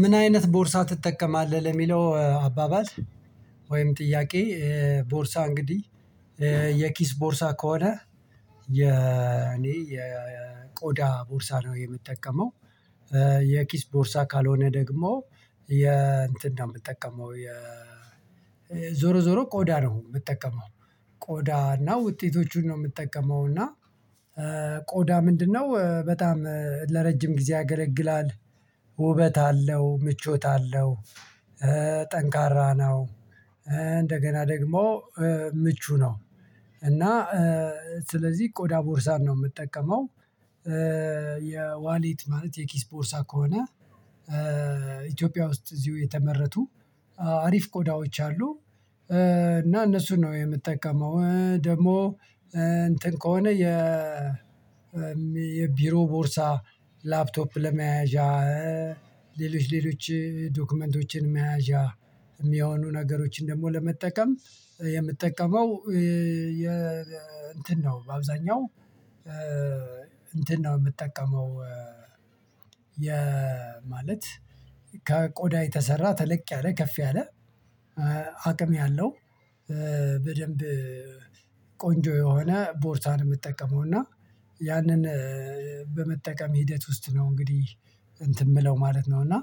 ምን አይነት ቦርሳ ትጠቀማለህ ለሚለው አባባል ወይም ጥያቄ? ቦርሳ እንግዲህ የኪስ ቦርሳ ከሆነ የኔ የቆዳ ቦርሳ ነው የምጠቀመው። የኪስ ቦርሳ ካልሆነ ደግሞ የእንትን ነው የምጠቀመው የ ዞሮ ዞሮ ቆዳ ነው የምጠቀመው። ቆዳ እና ውጤቶቹን ነው የምጠቀመው እና ቆዳ ምንድነው በጣም ለረጅም ጊዜ ያገለግላል። ውበት አለው ምቾት አለው ጠንካራ ነው እንደገና ደግሞ ምቹ ነው እና ስለዚህ ቆዳ ቦርሳን ነው የምጠቀመው። የዋሊት ማለት የኪስ ቦርሳ ከሆነ ኢትዮጵያ ውስጥ እዚሁ የተመረቱ አሪፍ ቆዳዎች አሉ። እና እነሱን ነው የምጠቀመው ደግሞ እንትን ከሆነ የ የቢሮ ቦርሳ ላፕቶፕ ለመያዣ ሌሎች ሌሎች ዶክመንቶችን መያዣ የሚያሆኑ ነገሮችን ደግሞ ለመጠቀም የምጠቀመው የ እንትን ነው በአብዛኛው እንትን ነው የምጠቀመው። የ ማለት ከቆዳ የተሰራ ተለቅ ያለ ከፍ ያለ አቅም ያለው በደንብ ቆንጆ የሆነ ቦርታን የምጠቀመው እና ያንን በመጠቀም ሂደት ውስጥ ነው እንግዲህ እንትን የምለው ማለት ነው። እና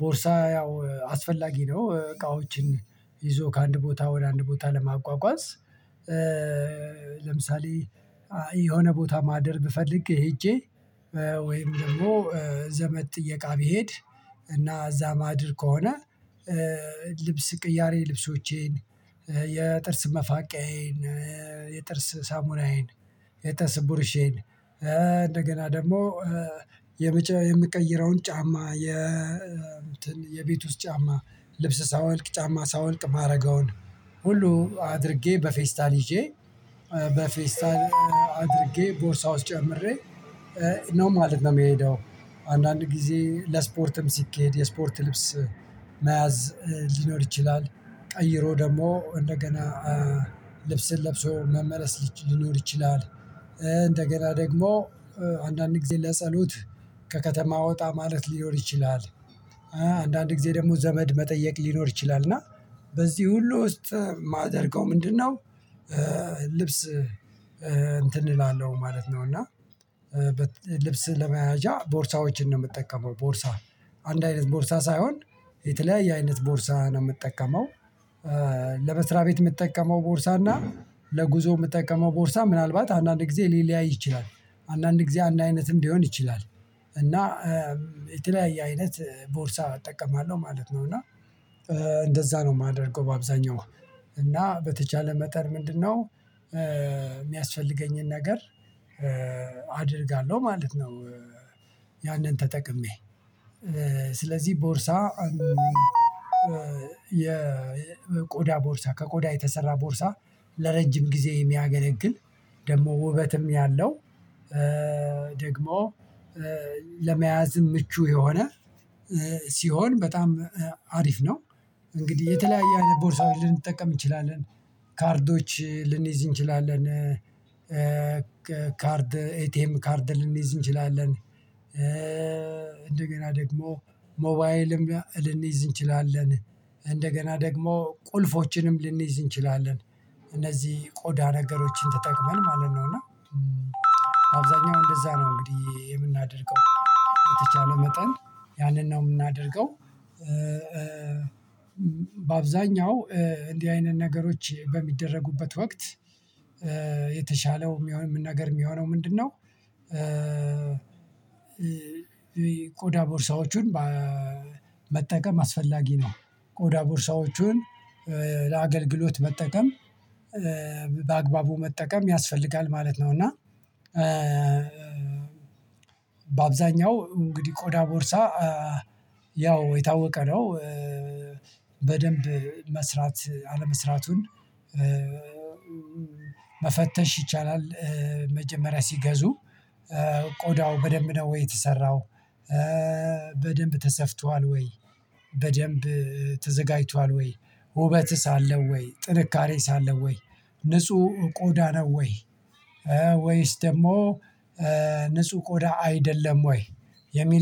ቦርሳ ያው አስፈላጊ ነው እቃዎችን ይዞ ከአንድ ቦታ ወደ አንድ ቦታ ለሟጓጓዝ። ለምሳሌ የሆነ ቦታ ማደር ብፈልግ ሄጄ ወይም ደግሞ ዘመድ ጥየቃ ብሄድ እና እዛ ማድር ከሆነ ልብስ ቅያሬ ልብሶቼን የጥርስ መፋቃዬን የጥርስ ሳሙናዬን የጥርስ ቡርሼን እንደገና ደግሞ የምቀይረውን ጫማ የ እንትን የቤት ውስጥ ጫማ ልብስ ሳወልቅ ጫማ ሳወልቅ ማረገውን ሁሉ አድርጌ በፌስታል ይዤ በፌስታል አድርጌ ቦርሳ ውስጥ ጨምሬ ነው ማለት ነው የሚሄደው። አንዳንድ ጊዜ ለስፖርትም ሲኬድ የስፖርት ልብስ መያዝ ሊኖር ይችላል ቀይሮ ደሞ እንደገና ልብስን ለብሶ መመለስ ሊኖር ይችላል እንደገና ደግሞ አንዳንድ ጊዜ ለጸሎት ከከተማ ወጣ ማለት ሊኖር ይችላል። አንዳንድ ጊዜ ደሞ ዘመድ መጠየቅ ሊኖር ይችላል እና በዚህ ሁሉ ውስጥ የማደርገው ምንድነው? ልብስ እንትን እላለሁ ማለት ነው እና ልብስ ለመያዣ ቦርሳዎችን ነው የምጠቀመው ቦርሳ አንድ አይነት ቦርሳ ሳይሆን የተለያየ አይነት ቦርሳ ነው የምጠቀመው። ለመስሪያ ቤት የምጠቀመው ቦርሳ እና ለጉዞ የምጠቀመው ቦርሳ ምናልባት አንዳንድ ጊዜ ሊለያይ ይችላል አንዳንድ ጊዜ አንድ አይነትም ሊሆን ይችላል እና የተለያየ አይነት ቦርሳ እጠቀማለሁ ማለት ነው። እና እንደዛ ነው የማደርገው በአብዛኛው እና በተቻለ መጠን ምንድነው የሚያስፈልገኝን ነገር አደርጋለሁ ማለት ነው። ያንን ተጠቅሜ ስለዚህ ቦርሳ የ የቆዳ ቦርሳ ከቆዳ የተሰራ ቦርሳ ለረጅም ጊዜ የሚያገለግል ደግሞ ውበትም ያለው ደግሞ ለመያዝ ምቹ የሆነ ሲሆን በጣም አሪፍ ነው። እንግዲህ የተለያየ አይነት ቦርሳዎች ልንጠቀም እንችላለን ካርዶች ልንይዝ እንችላለን ካርድ ኤቲኤም ካርድ ልንይዝ እንችላለን እንደገና ደግሞ ሞባይልም ልንይዝ እንችላለን እንደገና ደግሞ ቁልፎችንም ልንይዝ እንችላለን እነዚህ ቆዳ ነገሮችን ተጠቅመን ማለት ነው እና አብዛኛው እንደዛ ነው እንግዲህ የምናደርገው የተቻለው መጠን ያንን ነው የምናደርገው። በአብዛኛው እንዲህ አይነት ነገሮች በሚደረጉበት ወቅት የተሻለው የሚሆን ምን ነገር የሚሆነው ምንድነው? ቆዳ ቦርሳዎችን መጠቀም አስፈላጊ ነው። ቆዳ ቦርሳዎቹን ለአገልግሎት መጠቀም በአግባቡ መጠቀም ያስፈልጋል ማለት ነው። እና በአብዛኛው እንግዲህ ቆዳ ቦርሳ ያው የታወቀ ነው። በደንብ መስራት አለመስራቱን መፈተሽ ይቻላል። መጀመሪያ ሲገዙ ቆዳው በደንብ ነው ወይ? የተሰራው በደንብ ተሰፍቷል ወይ? በደንብ ተዘጋጅቷል ወይ? ውበትስ ኣለው ወይ? ጥንካሬ ኣለው ወይ? ንጹህ ቆዳ ነው ወይ? ወይስ ደሞ ንጹህ ቆዳ አይደለም ወይ? የሚል